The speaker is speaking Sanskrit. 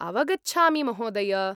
अवगच्छामि, महोदय।